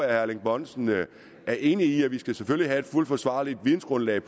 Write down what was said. erling bonnesen er enig i at vi selvfølgelig skal have et fuldt forsvarligt vidensgrundlag